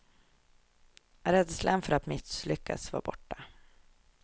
Rädslan för att misslyckas var borta.